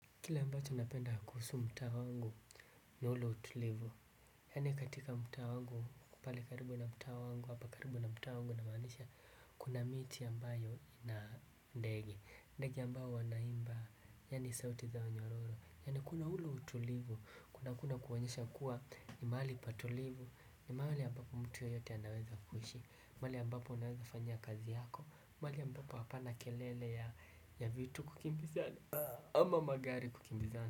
Kile ambacho napenda kuhusu mtaa wangu ni ule utulivu. Yani katika mtaa wangu pale karibu na mtaaa wangu hapa karibu na mtaa wangu na inamaanisha kuna miti ambayo ina ndege. Ndege ambayo wanaimba yani sauti zao nyororo. Yani kuna ule utulivu kuna kuna kuonyesha kuwa ni mali patulivu. Ni mahali ambapo mtu yeyote anaweza kuishi. Mahali ambapo unaweza fanyia kazi yako. Mahali ambapo hapana kelele ya vitu kukimbizana. Amamagari kukimbizana.